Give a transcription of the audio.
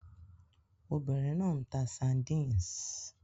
Obìnrin náà ń ta sardines